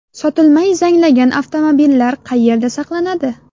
Sotilmay zanglagan avtomobillar qayerda saqlanadi?